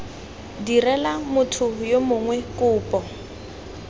direla motho yo mongwe kopo